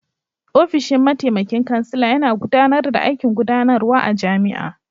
Ofishin mataimakin kansila yana gudanar da aikin gudanarwa a jami'a.